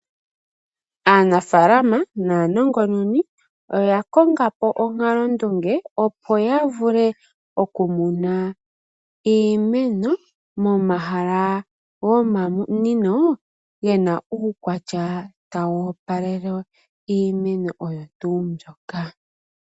Aanafalama naanongononi oya kongapo onkalondunge, opo yavule okumuna iimeno, momahala gomamunino gena uukwatya tawu opalele iimeno oyo tuu mbyoka.